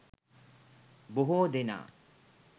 බොහෝ දෙනා